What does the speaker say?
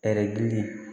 Ɛri gili